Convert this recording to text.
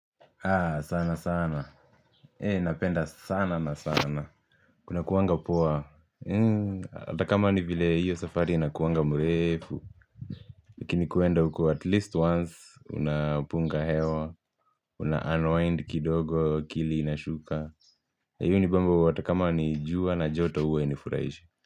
Sana sana hei napenda sana na sana kunakuwanga poa hata kama ni vile hiyo safari inakuwanga mrefu lakini kuenda huko at least once unapunga hewa unauwind kidogo akili inashuka hiyo hunibamba hata kama ni jua na joto huwa hainifuraishi.